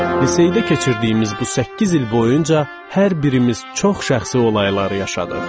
Liseydə keçirdiyimiz bu səkkiz il boyunca hər birimiz çox şəxsi olaylar yaşadıq.